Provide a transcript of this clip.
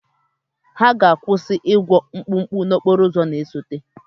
Ha ga-akwụsị ịgwọ mkpụkpụ n'okporo ụzọ na-esote.